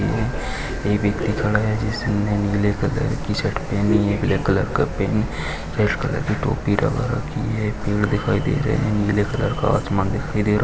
एक व्यक्ति खड़ा है जिसने नीले कलर शर्ट पेहनी है ब्लैक कलर की पेहन रेड कलर की टोपी लगा रखी है पेड़ दिखाई दे रहे हैं नीले कलर का आसमान दिखाई दे रहा है।